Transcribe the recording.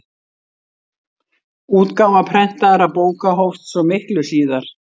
Útgáfa prentaðra bóka hófst svo miklu síðar.